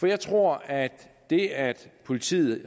jeg tror at det at politiet